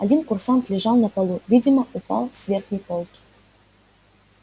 один курсант лежал на полу видимо упал с верхней полки